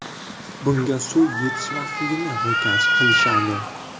Bunga suv yetishmasligini ro‘kach qilishadi.